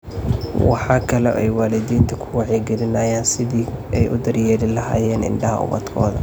Waxa kale oo ay waalidiinta ku wacyigelinayaan sidii ay u daryeeli lahaayeen indhaha ubadkooda.